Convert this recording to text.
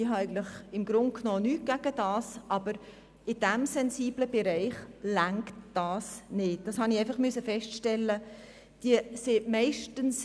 Ich habe grundsätzlich nichts gegen Eigenverantwortung, aber in diesem sensiblen Bereich reicht dies nicht, wie ich feststellen musste.